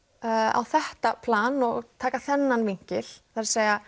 á þetta plan og taka þennan vinkil það er